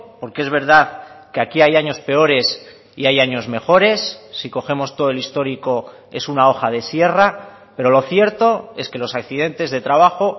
porque es verdad que aquí hay años peores y hay años mejores si cogemos todo el histórico es una hoja de sierra pero lo cierto es que los accidentes de trabajo